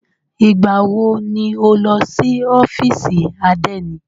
Ìgbà wọ ni o lọ sí ọ́fìsì àdénì?